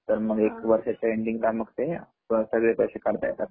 तर मग एक वर्षाच्या एन्डिंगला मग ते सगळे पैसे काढता येतात